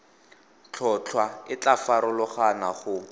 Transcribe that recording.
tlhotlhwa e tla farologana go